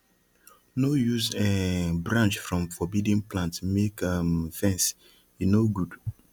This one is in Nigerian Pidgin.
no use um branch from forbidden plant make um fence e no good